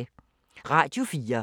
Radio 4